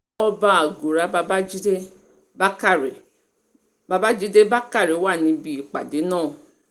ọba àgùrà babàjídé bákrè babàjídé bákrè wà níbi ìpàdé náà